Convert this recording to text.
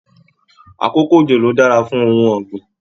Àkókò ojo lo dára fún ohùn ọgbin.